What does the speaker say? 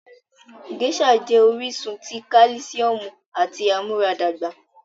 Geisha jẹ oríṣun tí kálìsíọ̀mù àti amuaradagba.